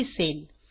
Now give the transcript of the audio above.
असे दिसेल